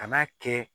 Kan'a kɛ